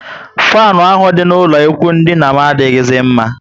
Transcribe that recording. Fanu ahụ dị na ụlọ ikwụ dina m adighizi mma